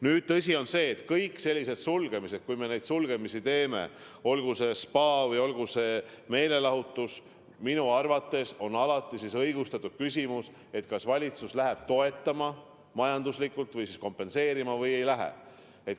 Nüüd, tõsi on see, et kui me neid sulgemisi teeme, olgu see spaa või olgu see meelelahutusasutus, siis minu arvates on alati õigustatud küsimus, kas valitsus hakkab seda majanduslikult kompenseerima või ei hakka.